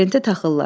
Lenti taxırlar.